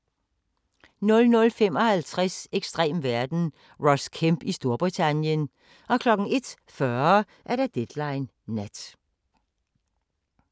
00:55: Ekstrem verden – Ross Kemp i Storbritannien 01:40: Deadline Nat